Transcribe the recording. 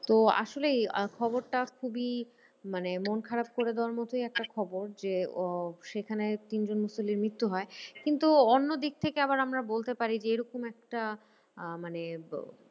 তো আসলেই খবরটা খুবই মানে মন খারাপ করে দেওয়ার মতোই একটা খবর যে আহ সেখানে তিনজন মুসল্লির মৃত্যু হয়। কিন্তু অন্য দিক থেকে আবার আমরা বলতে পারি যে, এরকম একটা আহ মানে